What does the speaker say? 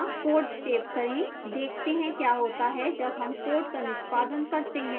code सेव करें देखते हैं क्या होता है जब हम code का निष्पादन करते हैं